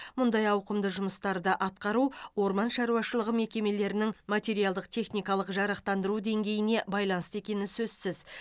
мұндай ауқымды жұмыстарды атқару орман шаруашылығы мекемелерінің материалдық техникалық жарақтандыру деңгейіне байланысты екені сөзсіз